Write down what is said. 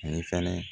Ani fana